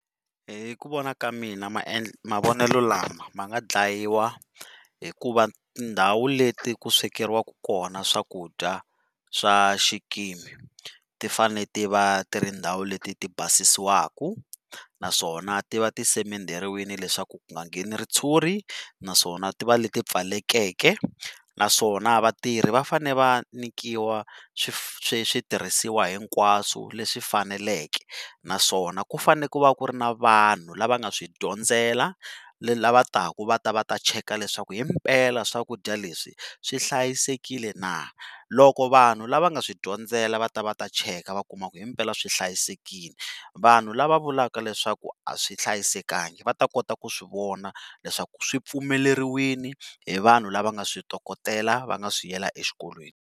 Hi ku vona ka mina mavonelo lama ma nga dlayiwa hi ku va tindhawu leti ku swekeriwaka kona swakudya swa xikimi ti fane ti va tindhawu leti ti basisiwaka naswona ti va ti semenderiwini leswaku ku nga ngheni ritshuri naswona ti va leti pfulekeke naswona vatirhi va fane va nyikiwa switirhisiwa hinkwaswo leswi faneleke naswona ku fane ku va ku ri na vanhu la va nga swi dyondzela la va taka va ta va ta check-a leswaku hi mpela swakudya leswi swi hlayisekile na loko vanhu lava nga swi dyondzela va ta va ta check-a va kuma ku hi mpela swi hlayisekile vanhu lava vulaka leswaku a swi hlayisekanga va ta kota ku swi vona leswaku swi pfumeleriwini hi vanhu lava nga switokotela va nga swi yela exikolweni.